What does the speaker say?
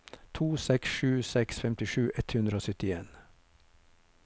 to seks sju seks femtisju ett hundre og syttien